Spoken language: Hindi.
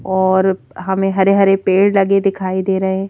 और हमें हरे-हरे पेड़ लगे दिखाई दे रहे हैं।